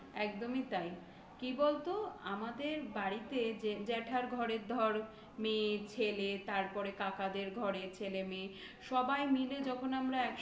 একদমই তাই. কি বলতো আমাদের বাড়তে জ্যাঠার ঘরের ধর মেয়ে, ছেলে, তারপরে কাকাদের ঘরে ছেলে, মেয়ে সবাই মিলে যখন আমরা একসঙ্গে